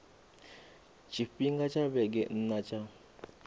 tshifhinga tsha vhege nna tsha